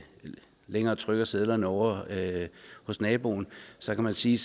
længere trykker sedlerne ovre hos naboen så kan man sige